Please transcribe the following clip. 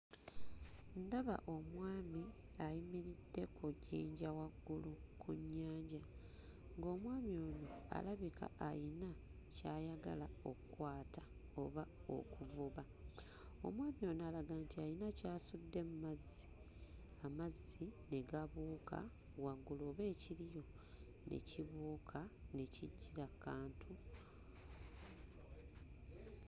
Ndaba omwami ayimiridde ku jjinja waggulu ku nnyanja, ng'omwami ono alabika ayina ky'ayagala okkwata oba okuvuba. Omwami ono alaga nti ayina ky'asudde mu mazzi, amazzi ne gabuuka waggulu oba ekiriyo ne kibuuka ne kijjira ku kantu.